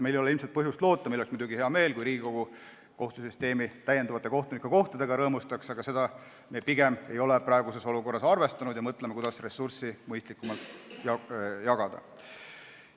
Meil oleks muidugi hea meel, kui Riigikogu kohtusüsteemi kohtunike lisakohtadega rõõmustaks, aga sellega ei ole me praeguses olukorras pigem arvestanud ja mõtleme, kuidas ressursse mõistlikumalt jagada.